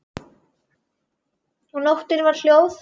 Og nóttin var hljóð.